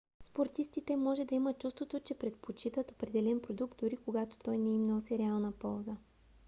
спортистите може да имат чувството че предпочитат определен продукт дори когато той не им носи реална полза